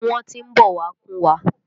Wọ́n tí ń bọ̀ wá kúnwa.